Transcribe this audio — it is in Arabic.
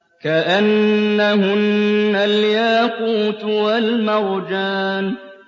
كَأَنَّهُنَّ الْيَاقُوتُ وَالْمَرْجَانُ